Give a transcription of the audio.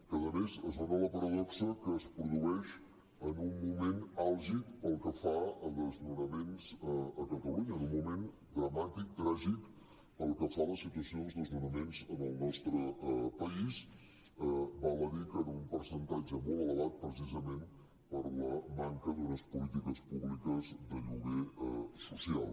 que a més es dona la paradoxa que es produeix en un moment àlgid pel que fa a desnonaments a catalunya en un moment dramàtic tràgic pel que fa a la situa·ció dels desnonaments en el nostre país val a dir que en un percentatge molt elevat precisament per la manca d’unes polítiques públiques de lloguer social